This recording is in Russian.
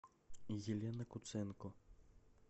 елена куценко